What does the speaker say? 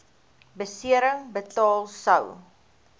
besering betaal sou